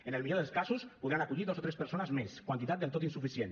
en el millor dels casos podran acollir dos o tres persones més quantitat del tot insuficient